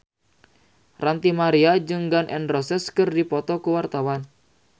Ranty Maria jeung Gun N Roses keur dipoto ku wartawan